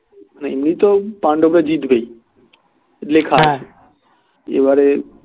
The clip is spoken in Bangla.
এমনিতেও পাণ্ডবরা জিতবেই লেখা আছে এবারে